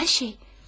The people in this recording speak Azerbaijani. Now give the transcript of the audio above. Hər şey!